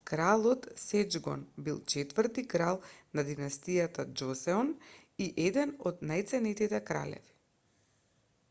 кралот сеџонг бил четврти крал на динасијата џосеон и е еден од најценетите кралеви